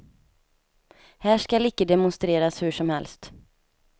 Här skall icke demonstreras hur som helst.